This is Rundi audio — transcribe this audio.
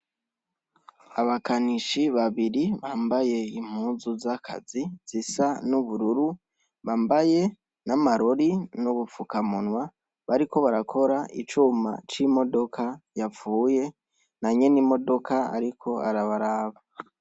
Abakanishi babiri bambaye impuzu z'akazi zisa n'ubururu bambaya n'amarori n'ubufukamunwa bariko barakora icuma c'imodoka yapfuye na nyenimodoka ariko arabaraba.